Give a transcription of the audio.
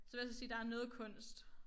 Så vil jeg altså sige der noget kunst